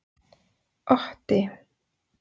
Otti